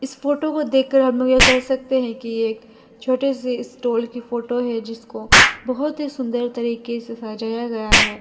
इस फोटो को देखकर हम यह कह सकते है कि एक छोटे से स्टॉल की फोटो है जिसको बहोत ही सुंदर तरीके से सजाया गया है।